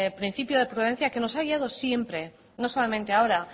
principio de prudencia que nos ha guiado siempre no solamente ahora